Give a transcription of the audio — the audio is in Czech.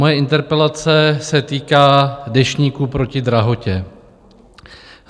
Moje interpelace se týká Deštníku proti drahotě.